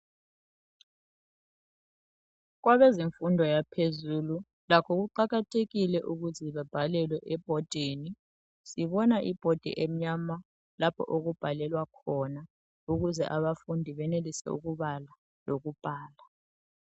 Kwabezemfundo yaphezulu, lakho kuqakathekile ukuthi babhalelwe ebhodini. Ngibona ibhodi emnyama lapho okubhalelwa khona ukuze abafundi benelise ukubala lokubhala.